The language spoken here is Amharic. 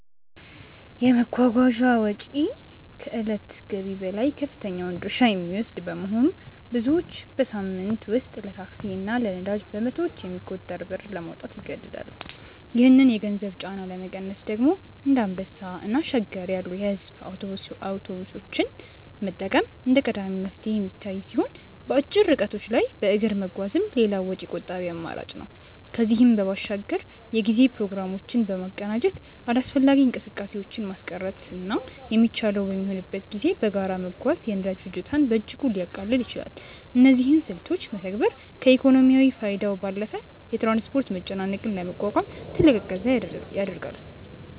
የመጓጓዣ ወጪ ከዕለታዊ ገቢ ላይ ከፍተኛውን ድርሻ የሚወስድ በመሆኑ፣ ብዙዎች በሳምንት ውስጥ ለታክሲ እና ለነዳጅ በመቶዎች የሚቆጠር ብር ለማውጣት ይገደዳሉ። ይህንን የገንዘብ ጫና ለመቀነስ ደግሞ እንደ አንበሳ እና ሸገር ያሉ የሕዝብ አውቶቡሶችን መጠቀም እንደ ቀዳሚ መፍትሄ የሚታይ ሲሆን፣ በአጭር ርቀቶች ላይ በእግር መጓዝም ሌላው ወጪ ቆጣቢ አማራጭ ነው። ከዚህም በባሻግር የጉዞ ፕሮግራሞችን በማቀናጀት አላስፈላጊ እንቅስቃሴዎችን ማስቀረትና የሚቻለው በሚሆንበት ጊዜ በጋራ መጓዝ የነዳጅ ፍጆታን በእጅጉ ሊያቃልል ይችላል። እነዚህን ስልቶች መተግበር ከኢኮኖሚያዊ ፋይዳው ባለፈ የትራንስፖርት መጨናነቅን ለመቋቋም ትልቅ እገዛ ያደርጋል።